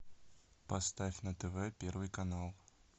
поставь на тв первый канал